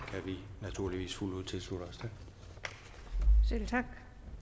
vi naturligvis fuldt ud tilslutte os tak